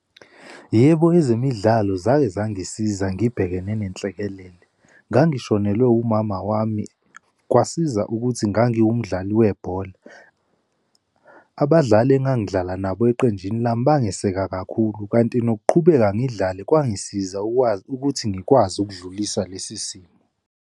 Yebo, ezemidlalo zake zangisiza, ngibhekene nenhlekelele. Ngangishonelwe umama wami, kwasiza ukuthi ngangiwumdlali webhola. Abadlali engangidlala nabo eqenjini lami bangeseke kakhulu kanti nokuqhubeka ngidlale kwangisiza ukwazi ukuthi ngikwazi ukudlulisa lesi simo.